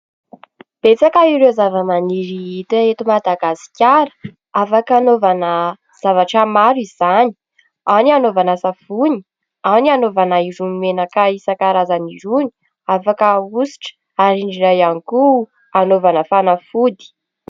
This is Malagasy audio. Betsaka ireo zavamaniry hita eto Madagasikara, afaka hanaovana zavatra maro izany ao : ny anaovana savony, ao ny anaovana irony menaka isan-karazany irony, afaka ahositra ary indrindra ihany koa anaovana fanafody.